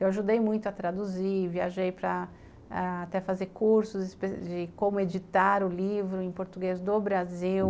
Eu ajudei muito a traduzir, viajei até para a fazer cursos de como editar o livro em português do Brasil.